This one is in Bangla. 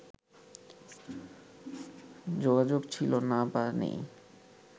যোগাযোগ ছিল না বা নেই